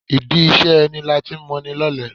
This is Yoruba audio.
Ìdí iṣẹ́ ẹni lati ń moni lọ́lẹ.